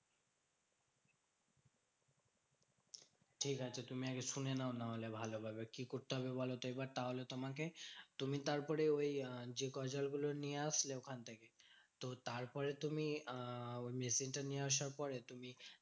ঠিকাছে তুমি আগে শুনে নাও নাহলে ভালো ভাবে। কি করতে হবে বলতো এবার? তাহলে তোমাকে তুমি তারপরে ওই যে গজালগুলো নিয়ে আসলে ওখান থেকে। তো তারপরে তুমি আহ machine টা নিয়ে আসার পরে তুমি